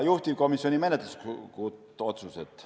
Juhtivkomisjoni menetluslikud otsused olid järgmised.